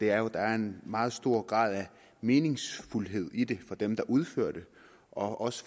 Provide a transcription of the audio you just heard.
er jo at der er en meget stor grad af meningsfuldhed i det for dem der udfører det og